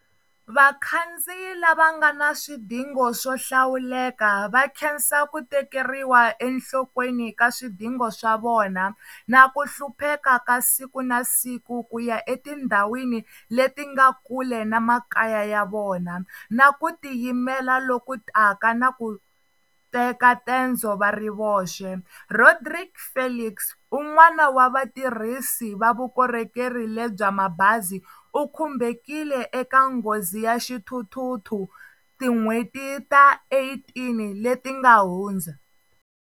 Vakhandziyi lava nga na swidingo swo hlawuleka va khensa ku tekeriwa enhlokweni ka swidingo swa vona na ku hlupheka ka siku na siku ku ya etindhawini leti nga kule na makaya ya vona, na ku tiyimela lokutaka na ku teka tendzo va ri voxe. Rodrique Felix, un'wana wa vatirhisi va vukorhokeri lebya mabazi u khumbekile eka nghozi ya xithuthuthu tin'hweti ta 18 leti nga hundza.